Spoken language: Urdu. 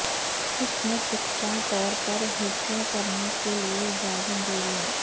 اس نیٹ یکساں طور پر ھیںچو کرنے کے لئے اجازت دے گا